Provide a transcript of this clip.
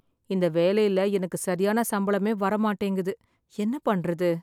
இந்த வேலையில எனக்கு சரியான சம்பளமே வர மாட்டேங்குது என்ன பண்றது?